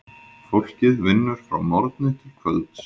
Fólkið vinnur frá morgni til kvölds.